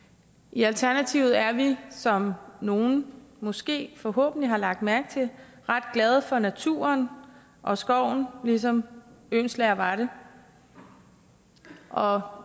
i alternativet er vi som nogle måske forhåbentlig har lagt mærke til ret glade for naturen og skoven ligesom oehlenschläger var det og